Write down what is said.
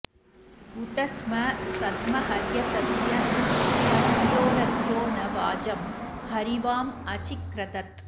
उत स्म सद्म हर्यतस्य पस्त्योरत्यो न वाजं हरिवाँ अचिक्रदत्